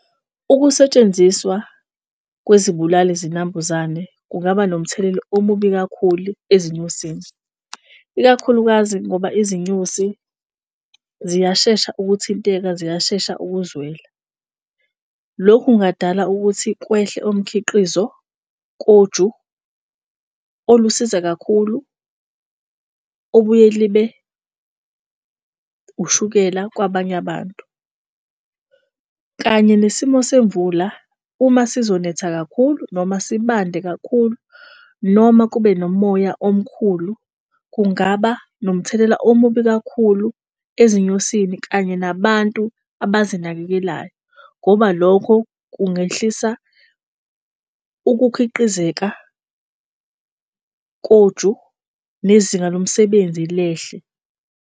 Ukusetshenziswa kwezibulali zinambuzane kungaba nomthelela omubi kakhulu ezinyosini ikakhulukazi ngoba izinyosi ziyashesha ukuthinteka, ziyashesha ukuzwela. Lokhu kungadala ukuthi kwehle omkhiqizo koju olusiza kakhulu obuye libe ushukela kwabanye abantu. Kanye nesimo semvula uma sizonetha kakhulu noma sibande kakhulu, noma kube nomoya omkhulu. Kungaba nomthelela omubi kakhulu ezinyosini kanye nabantu abazinakekelayo ngoba lokho kungehlisa ukukhiqizeka koju nezinga lomsebenzi lehle.